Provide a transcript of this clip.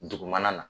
Dugumana na